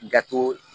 Dato